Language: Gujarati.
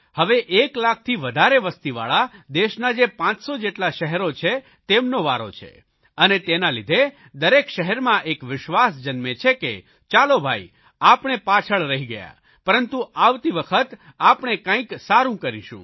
હવે એકલાખથી વધારે વસતીવાળા દેશના જે 500 જેટલા શહેરો છે તેમનો વારો છે અને તેના લીધે દરેક શહેરમાં એક વિશ્વાસ જન્મે છે કે ચાલો ભાઇ આપણે પાછળ રહી ગયા પરંતુ આવતી વખત આપણે કંઇક સારૂં કરીશું